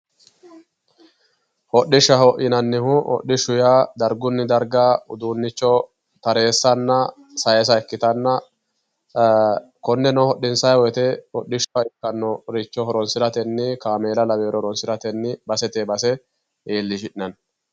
Hodhishshaho yinnannihu dargunni darga mittoricho taresanna saysa ikkittanna konneno hodhissani woyte horonsirateni kaameela lawinore horonsiratenni basete base iillishi'nanni.